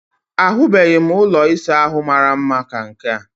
Ahụbeghị m ụlọ ịsa ahụ mara mma ka nke a